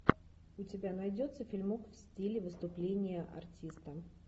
у тебя найдется фильмок в стиле выступления артиста